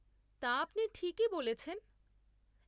তা, আপনি ঠিকই বলছেন।